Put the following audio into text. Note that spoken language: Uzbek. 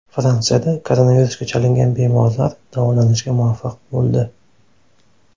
Fransiyada koronavirusga chalingan bemorlar davolanishga muvaffaq bo‘ldi.